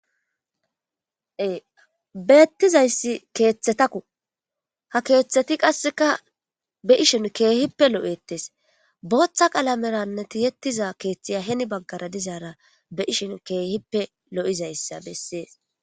beettizayssi keeththetakku ha keeththeti qasseka be ishin keehippe lo7ettes booththa qalameranneti yettiza keeththiya heni baggara dizaara be ishin keehippe lo7izayssa bessees